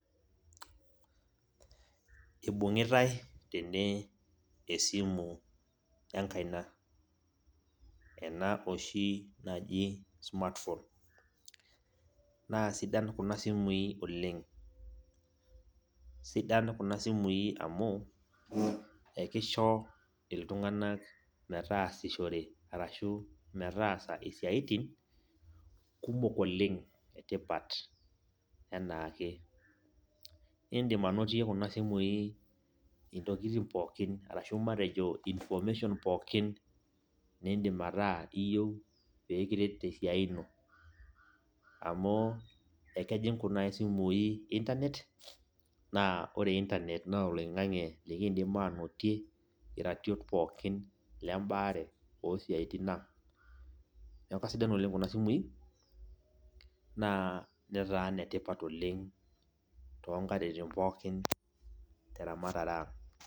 Ibung'itai tene esimu enkaina. Ena oshi naji smartphone. Na sidan kuna simui oleng. Sidan kuna simui amu, ekisho iltung'anak metaasishore arashu metaasa isiaitin, kumok oleng etipat enaake. Idim anotie kuna simui intokiting pookin, arashu matejo information pookin niidim ataa iyieu pekiret tesiai ino. Amu, ekejing' kuna simui Internet, naa ore Internet naa oloing'ang'e likiidim anotie iratiot pookin lebaare osiaitin ang. Neeku kasidan oleng kuna simui, naa netaa inetipat oleng tonkatitin pookin, teramatare ang'.